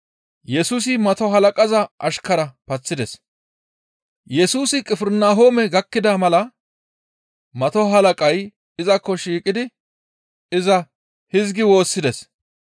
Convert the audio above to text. Yesusi Qifirnahoome gakkida mala mato halaqay izakko shiiqidi iza hizgi woossides.